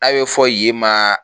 N'a bɛ fɔ yen ma